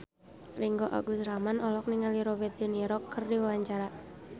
Ringgo Agus Rahman olohok ningali Robert de Niro keur diwawancara